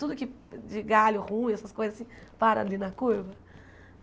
Tudo que de galho ruim, essas coisas assim, para ali na curva.